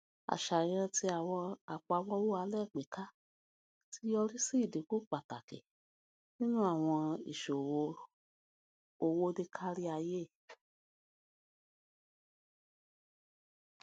aṣayan ti awọn apamọwọ alagbeka ti yori si idinku pataki ninu awọn iṣowo owo ni kariaye